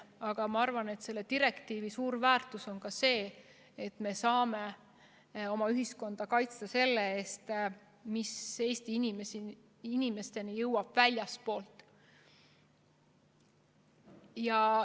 Aga ma arvan, et selle direktiivi suur väärtus on ka see, et me saame oma ühiskonda kaitsta selle eest, mis Eesti inimesteni jõuab väljastpoolt.